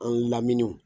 An lamini